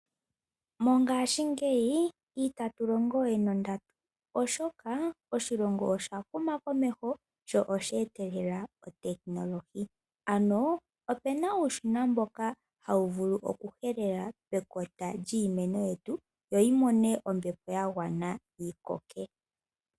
Mongashingeyi itatu nana we nondatu, oshoka oshilongo osha huma komeho sho oshe etelela otekinolohi. Opu na uushina mboka hawu vulu okuhelela pekota lyiimeno yetu yo yi mone ombepo ya gwana yi koke.